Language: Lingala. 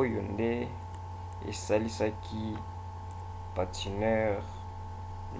oyo nde esalisaka patineur